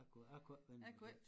A kunne a kunne æ finde mig i det